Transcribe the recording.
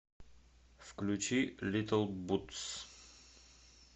включи литтл бутс